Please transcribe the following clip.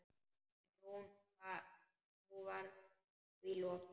En nú var því lokið.